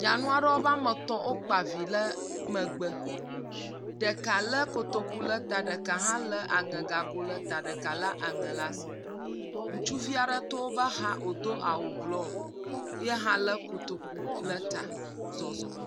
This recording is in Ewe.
Nyanua ɖewo be ame etɔ̃ wokpa vi ɖe megbe. Ɖeka le kotoku le ta, ɖeka hã le aŋegago le ta, ɖeka le aŋe le asi. Ŋutsuvi to woba xa wodo awu blɔ yehã le kotoku le ta zɔzɔm